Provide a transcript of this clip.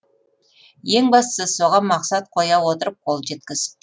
ең бастысы соған мақсат қоя отырып қол жеткіз